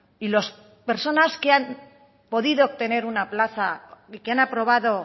y las personas que han podido obtener una plaza y que han aprobado